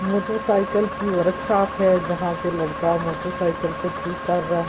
Motorcycle की workshop है यहां पे लड़का मोटरसाइकिल ठीक कर रहा।